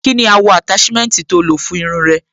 Kí ni àwọ̀ àtáṣímẹ́ǹtì tó lò fún irun ẹ?